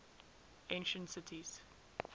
ancient cities